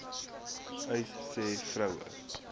uys sê vroue